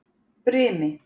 Brimi